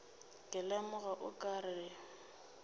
ke lemoga o ka re